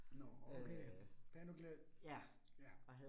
Nåh okay, pæn og glad. Ja